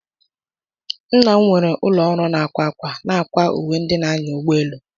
Nna m nwere ụlọ ọrụ na-akwa ákwà, na-akwa uwe ndị na-anya ụgbọelu.